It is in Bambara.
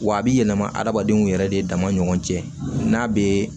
Wa a bɛ yɛlɛma hadamadenw yɛrɛ de dama ni ɲɔgɔn cɛ n'a bɛ